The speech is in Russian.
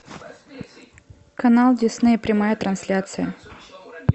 канал дисней прямая трансляция